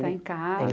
Está em